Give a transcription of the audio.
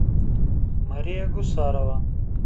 мария гусарова